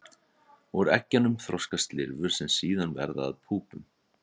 Úr eggjunum þroskast lirfur sem síðan verða að púpum.